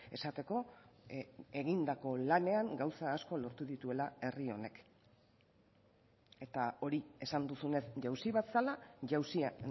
esateko egindako lanean gauza asko lortu dituela herri honek eta hori esan duzunez jauzi bat zela jauzia